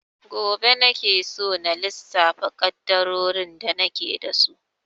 Gobe nake so na lissafa ƙaddarorin da nake da su.